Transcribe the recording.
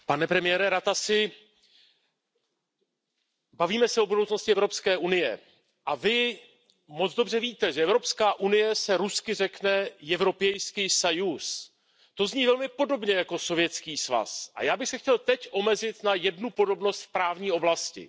Pane předsedající, pane premiére Ratasi, bavíme se o budoucnosti Evropské unie a Vy moc dobře víte, že Evropská unie se rusky řekne To zní velmi podobně jako Sovětský svaz a já bych se chtěl teď omezit na jednu podobnost v právní oblasti.